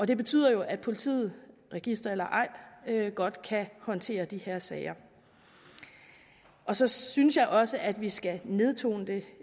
det betyder jo at politiet register eller ej godt kan håndtere de her sager så synes jeg også at vi skal nedtone det